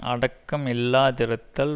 அடக்கம் இல்லாதிருத்தல்